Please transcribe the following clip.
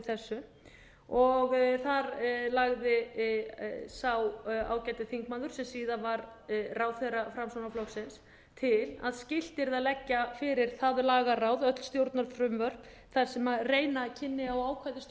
þessu þar lagði sá ágæti þingmaður sem síðar varð ráðherra framsóknarflokksins til að skylt yrði að leggja fyrir það lagaráð öll stjórnarfrumvörp þar sem reyna kynni á ákvæði